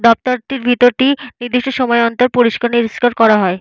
দপ্তরটির ভেতরটি নির্দিষ্ট সময় অন্তর পরিষ্কার নিরিশ্কার করা হয়।